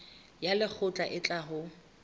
ya lekgotla e tla ho